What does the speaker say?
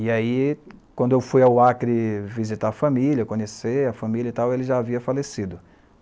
E aí, quando eu fui ao Acre visitar a família, conhecer a família e tal, ele já havia falecido.